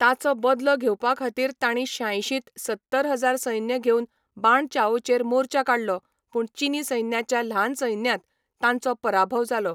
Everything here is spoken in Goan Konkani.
ताचो बदलो घेवपाखातीर तांणी शांयशीं त सत्तर हजार सैन्य घेवन बाण चाओचेर मोर्चा काडलो पूण चीनी सैन्याच्या ल्हान सैन्यान तांचो पराभव जालो.